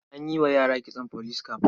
An yi wa yara kitson police cap.